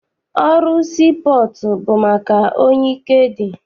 Ọrụ sii pọọtụ bụ maka onye ike dị.